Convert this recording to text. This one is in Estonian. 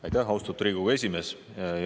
Aitäh, austatud Riigikogu esimees!